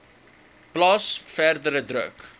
plaas verdere druk